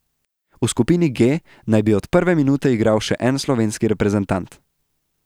V skupini G naj bi od prve minute igral še en slovenski reprezentant.